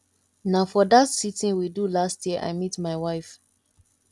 na for dat sitin we do last year i meet my wife